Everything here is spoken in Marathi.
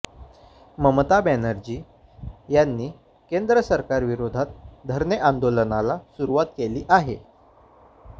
ममता बॅनर्जी यांनी केंद्र सरकारविरोधात धरणे आंदोलनाला सुरुवात केली आहे